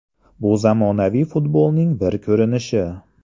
Bu zamonaviy futbolning bir ko‘rinishi.